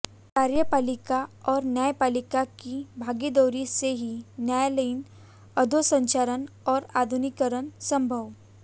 कार्यपालिका और न्यायपालिका की भागीदारी से ही न्यायालयीन अधोसंरचना और आधुनिकीकरण संभव